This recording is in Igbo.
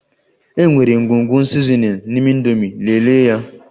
E nwere ngwugwu sizinin n'ime indomi, lelee ya